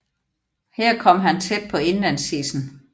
Her kom han tæt på indlandsisen